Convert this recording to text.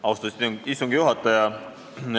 Austatud istungi juhataja!